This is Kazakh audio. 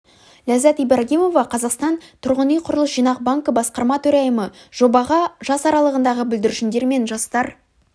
ләззат ибрагимова қазақстан тұрғын үй құрылыс жинақ банкі басқарма төрайымы жобаға жас аралығындағы бүлдіршіндер мен жастар